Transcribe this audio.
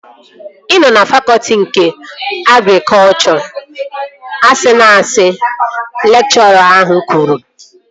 Ị nọ na fakọtị nke agrikọchọ. Asịna asị! Lekchọra ahụ kwuru